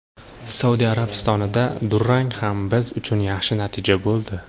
Saudiya Arabistonida durang ham biz uchun yaxshi natija bo‘ldi.